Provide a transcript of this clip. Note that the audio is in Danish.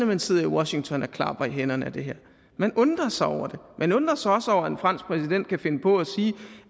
man sidder i washington og klapper i hænderne af det her man undrer sig over det man undrer sig også over at en fransk præsident kan finde på at sige